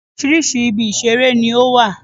Oríṣiríṣi ibi ìṣeré ni ó wà